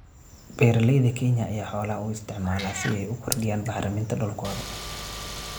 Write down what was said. Beeralayda Kenya ayaa xoolaha u isticmaala si ay u kordhiyaan bacriminta dhulkooda.